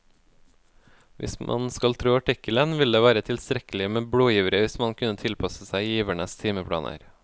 Hvis man skal tro artikkelen, ville det være tilstrekkelig med blodgivere hvis man kunne tilpasse seg givernes timeplaner.